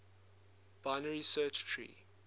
binary search tree